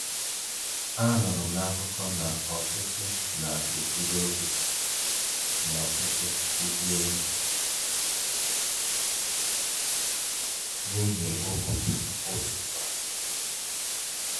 Anụrụ m na akụkọ na ọtụtụ na-eburu oge na-ọtụtụ ụgbọ elu n'ihi ugugu ụtụtụ a.